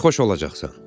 Sərxoş olacaqsan.